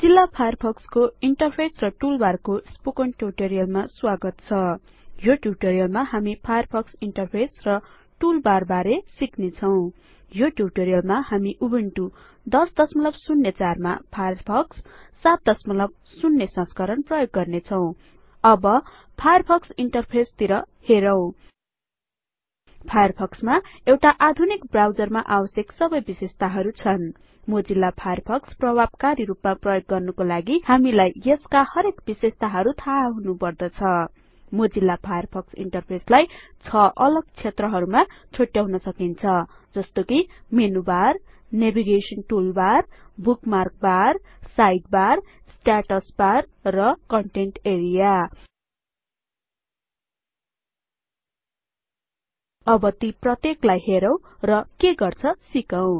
Mozilla फायरफक्सको interface र टुलबारको स्पोकन ट्यूटोरीयलमा स्वागत छ यो ट्यूटोरीयलमा हामी फायरफक्स इन्टरफेस र टुलबारबारे सिक्ने छौं यो ट्यूटोरीयलमा हामी उबुन्टु १००४मा फायरफक्स ७० संस्करण प्रयोग गर्ने छौं अब फायरफक्स इन्टरफेसतिर हेरौं फायरफक्समा एउटा आधुनिक ब्राउजरमा आवश्यक सबै विशेषताहरु छन् मोजिल्ला फायरफक्स प्रभाबकारीरुपमा प्रयोग गर्नुको लागि हामीलाई यसका हरेक विशेषताहरु थाहा हुनु पदर्छ मोजिल्ला फायरफक्स इन्टरफेसलाई ६ अलग क्षेत्रहरूमा छुट्याउन सकिन्छ जस्तो कि menu bar navigation toolbar bookmark बार side bar status bar content area अब यी प्रत्येकलाई हेरौं र के गर्छ सिकौं